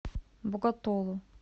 боготолу